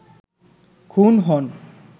খুন হন